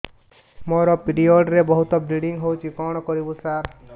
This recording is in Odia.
ମୋର ପିରିଅଡ଼ ରେ ବହୁତ ବ୍ଲିଡ଼ିଙ୍ଗ ହଉଚି କଣ କରିବୁ ସାର